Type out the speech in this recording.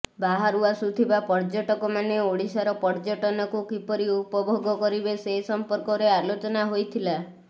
ବାହାରୁ ଆସୁଥିବା ପର୍ଯ୍ୟଟକମାନେ ଓଡ଼ିଶାର ପର୍ଯ୍ୟଟନକୁ କିପରି ଉପଭୋଗ କରିବେ ସେସମ୍ପର୍କରେ ଆଲୋଚନା ହୋଇଥିଲା